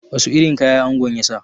Wasu irin kaya angon ya sa?